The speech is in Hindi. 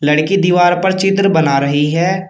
लड़की दीवार पर चित्र बना रही है।